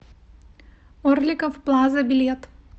орликов плаза билет